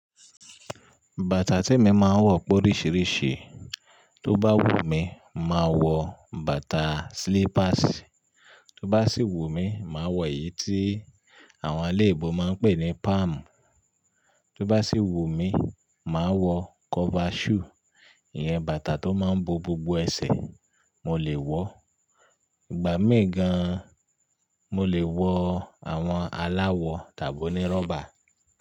Bàtà tí emi máa ń wọ pé oríṣiríṣi, tó bá wù mí, màá wọ bàtà slippers, tó bá sì wù mí, màá wọ èyí tí àwọn alẹ́ ibo máa ń pè ní palm, tó bá sì wù mí, màá wọ cover shoe, ìyẹn bàtà tó máa ń bo gbogbo ẹsẹ̀ mo lè wọ, ìgbà mé gan mo lè wọ àwọn aláwọ̀ tàbí onírọ́bà.